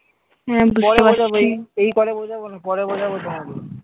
এই কলে বোঝাবো না। পরে বোঝাবো তোমাকে।